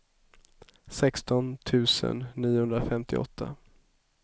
sexton tusen niohundrafemtioåtta